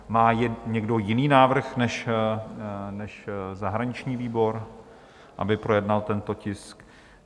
Má někdo jiný návrh než zahraniční výbor, aby projednal tento tisk?